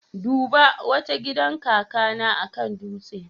Duba! Wato gidan kakana akan dutse